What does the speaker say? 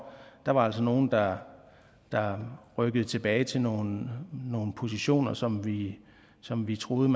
der var altså nogle der der rykkede tilbage til nogle positioner som vi som vi troede